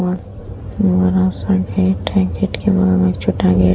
बड़ा-सा गेट है। गेट के बाहर एक छोटा गेट --